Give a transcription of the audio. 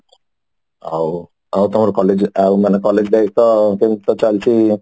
ଆଉ ଆଉ ତମର collage ଆଉ ମାନେ collage କେମତି କଣ ଚାଲିଛି